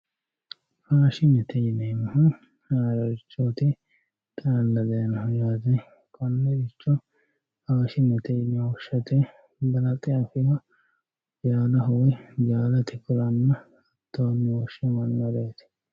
Faashinete yineemohu haarorichoti xaalla dayinoho yaate konericho faashinete yine woshate balaxxe afewoha yaano woyi jaaliki kulanna hattoni woshamanoreeti